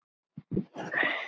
Eftir erum við Maja.